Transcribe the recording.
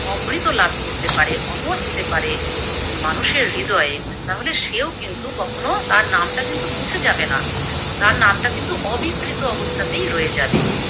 অমৃত লাভ করতে পারে, অমর হতে পারে মানুষের হৃদয়ে, তাহলে সেও কিন্তু কখনো তার নামটা কিন্তু মুছে যাবে না, তার নামটা কিন্তু অবিকৃত অবস্থাতেই রয়ে যাবে।